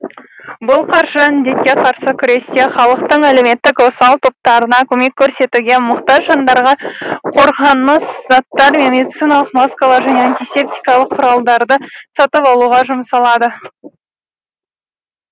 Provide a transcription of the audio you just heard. бұл қаржы індетке қарсы күресте халықтың әлеуметтік осал топтарына көмек көрсетуге мұқтаж жандарға қорғаныс заттары мен медициналық маскалар және антисептикалық құралдарды сатып алуға жұмсалады